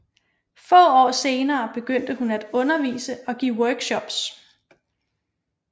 Få år senere begyndte hun at undervise og give workshops